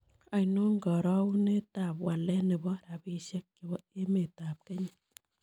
Ainon karogunetap walet ne po rabisiek chepo emetap kenya